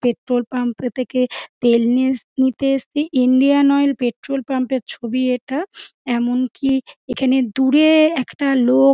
Petrol pump -এর থেকে তেল নিয়ে এসেছি। ইন্ডিয়ান অয়েল পেট্রল পাম্প -এর ছবি এটা এমনকি এখানে দূরে একটা লোক --